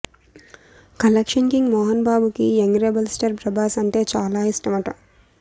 collection king Mohan బాబుకి young rebel star Prabhas అంటే బాగా ఇష్టమట